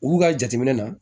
Olu ka jateminɛ na